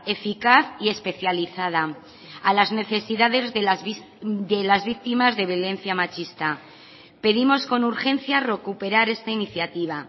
eficaz y especializada a las necesidades de las víctimas de violencia machista pedimos con urgencia recuperar esta iniciativa